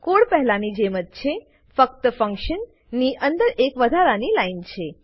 code પહેલા ની જેમજ છે ફક્ત ફંક્શન ની અંદર એક વધારાની લાઈન છે